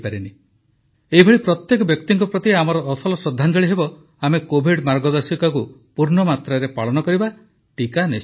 ଏଭଳି ପ୍ରତ୍ୟେକ ବ୍ୟକ୍ତିଙ୍କ ପ୍ରତି ଆମର ଅସଲ ଶ୍ରଦ୍ଧାଞ୍ଜଳି ହେବ ଆମେ କୋଭିଡ ମାର୍ଗଦର୍ଶିକାକୁ ପୂର୍ଣ୍ଣ ମାତ୍ରାରେ ପାଳନ କରିବା ଟିକା ନିଶ୍ଚୟ ନେବା